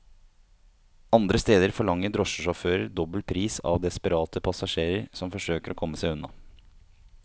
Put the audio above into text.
Andre steder forlanger drosjesjåfører dobbel pris av desperate passasjerer som forsøker å komme seg unna.